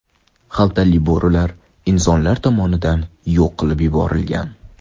Xaltali bo‘rilar insonlar tomonidan yo‘q qilib yuborilgan.